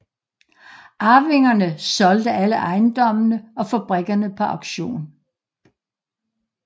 Arvingerne solgte alle ejendommene og fabrikkerne på auktion